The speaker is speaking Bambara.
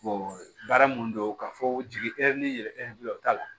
baara mun don ka fɔ jigi ni yɛlɛfil'o t'a la